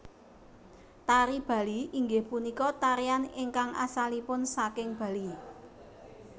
Tari Bali inggih punika tarian ingkang asalipun saking Bali